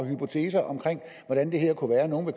hypoteser om hvordan det her kunne være at nogle